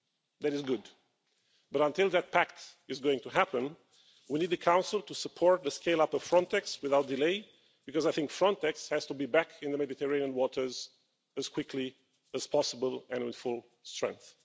That is good, but until that pact is going to happen, we need the Council to support the scale-up of Frontex without delay because Frontex has to be back in the Mediterranean waters as quickly as possible and at full strength.